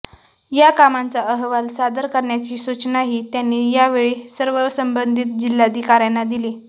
या कामांचा अहवाल सादर करण्याची सुचनाही त्यांनी यावेळी सर्व संबंधीत जिल्हाधिकाऱ्यांना दिली